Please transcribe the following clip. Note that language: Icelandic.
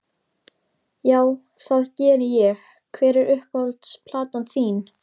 Já, það geri ég Hver er uppáhalds platan þín?